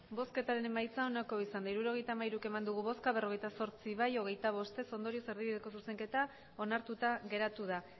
emandako botoak hirurogeita hamairu bai berrogeita zortzi ez hogeita bost ondorioz erdibideko zuzenketa onartuta geratu da